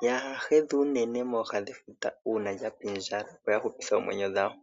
kaaya hedhe unene pooha dhefuta uuna lya pindjala, opo ya hupithe oomwenyo dhawo.